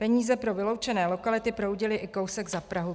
Peníze pro vyloučené lokality proudily i kousek za Prahu.